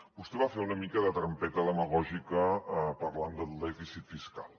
vostè va fer una mica de trampeta demagògica parlant del dèficit fiscal